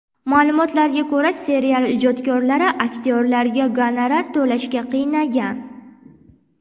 Ma’lumotlarga ko‘ra, serial ijodkorlari aktyorlarga gonorar to‘lashga qiynalgan.